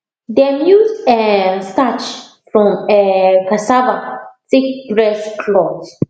dem use um starch from um cassava take press cloth